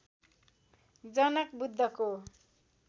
जनक बुद्धको